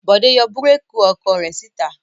Bọ̀dé yọ búrékì ọkọ̀ rẹ̀ síta.